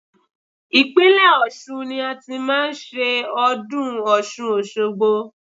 Ìpínlẹ̀ Ọ̀ṣun ni a ti máa ń ṣe ọdún Ọ̀ṣun òṣogbo.